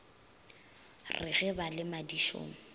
re ge ba le madišong